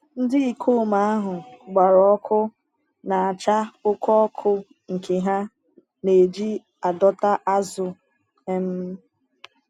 Ndị ikom ahụ gbara ọkụ na-acha oke ọkụ nke ha na-eji adọta azụ. um